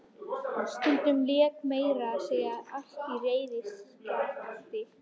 Stundum lék meira að segja allt á reiðiskjálfi.